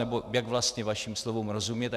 Nebo jak vlastně vašim slovům rozumět?